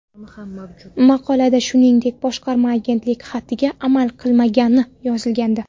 Maqolada shuningdek, boshqarma agentlik xatiga amal qilmagani yozilgandi.